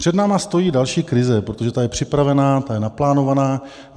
Před námi stojí další krize, protože ta je připravena, ta je naplánovaná.